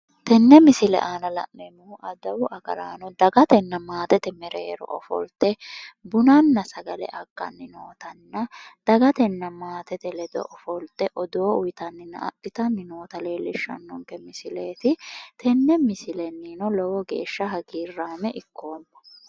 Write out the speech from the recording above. tenne misile aana la'neemmori adawu agaraano dagatenna maatete mereero bunanna sagale agganni nootanna dagatanna maatete ledo ofolte odoo uyiitanna adhitanni noot leellishshanno misileeti tenne misilennino lowo geeshsha hagiirraame ikkoomma.